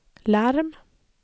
larm